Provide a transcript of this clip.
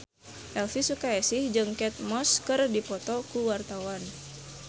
Elvy Sukaesih jeung Kate Moss keur dipoto ku wartawan